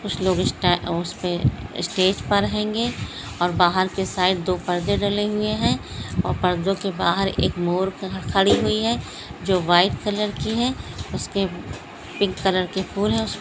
कुछ लोग स्टा स्टेज पर हेंगे और बाहर के साइड दो पर्दे डले हुए हैं और पर्दों के बाहर एक मोर खड़ी हुई है जो व्हाइट कलर की है उसके पिंक कलर के फूल है--